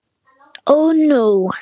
OG NÚ!